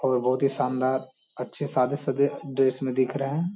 और बहुत ही शानदार अच्छे से सादे सदे ड्रेस में दिख रहे हैं।